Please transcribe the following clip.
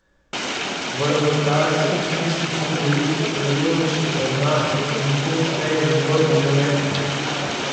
V rezultatskem smislu so bili superiornejši od nas, in to šteje v nogometu.